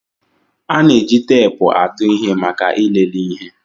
A na-eji teepu atụ ihe maka ịlele ihe